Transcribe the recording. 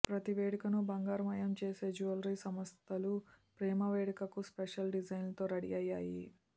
ప్రతి వేడుకను బంగారు మయం చేసే జ్యువెలరీ సంస్థలు ప్రేమ వేడుకకు స్పెషల్ డిజైన్లతో రెడీ అయ్యాయి